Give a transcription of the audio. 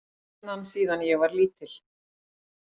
Stefnan síðan ég var lítill